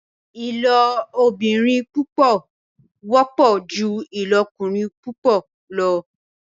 ilobìrin púpọ wọpọ jù ilokurin púpọ lọ.